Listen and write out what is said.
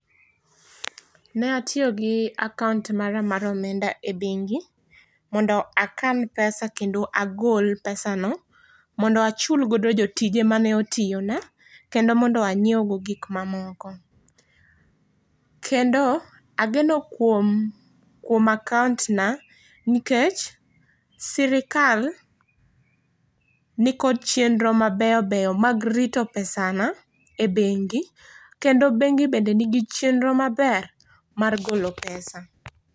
Ne atiyo gi account mara mar omenda e bengi mondo akan pesa kendo agol pesa no ,mondo achul go jotije ma ne otiyo na. kendo mondo ang'iew go gik ma moko .kendo ageno kuom ,kuom account na nikech sirkal ni kod chenro mabeyo beyo mag rito pesa na e bengi kendo bengi be ni gi chenro maber mar golo pesa.